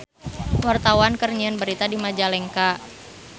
Wartawan keur nyiar berita di Majalengka